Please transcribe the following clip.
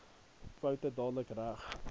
foute dadelik reg